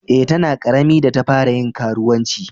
Eh, ta na karemi da ta fara yin karuwanci.